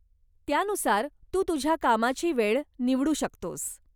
त्यानुसार तू तुझ्या कामाची वेळ निवडू शकतोस.